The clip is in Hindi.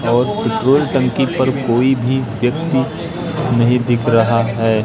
और पेट्रोल टंकी पर कोई भी व्यक्ति नहीं दिख रहा है।